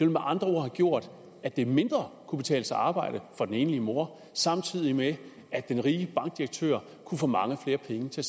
med andre ord have gjort at det mindre kunne betale sig at arbejde for den enlige mor samtidig med at den rige bankdirektør kunne få mange flere penge til